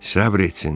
Səbr etsin,